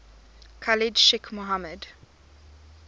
khalid sheikh mohammed